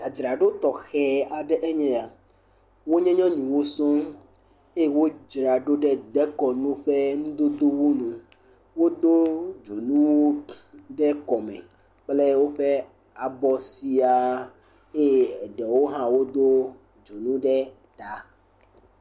Dzadzraɖo tɔxɛ aɖe eye ya. Wonye nyɔnuwo sɔŋ. Eye wodzra ɖo ɖe dekɔnu ƒe nudodowo me. Wodo dzonuwo ɖe kɔme kple woƒe abɔ sia eye ɖewo hã wodo dzonu ɖe ta.